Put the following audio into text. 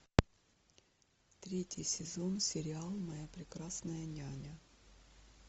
третий сезон сериал моя прекрасная няня